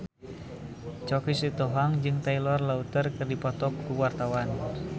Choky Sitohang jeung Taylor Lautner keur dipoto ku wartawan